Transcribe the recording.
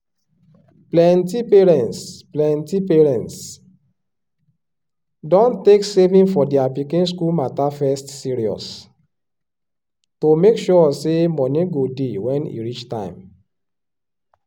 plenti parents plenti parents don take saving for their pikin school matter first serious to make sure say money go dey when e reach time.